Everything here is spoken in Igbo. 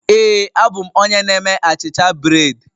Ee a bụ m onye na-eme bred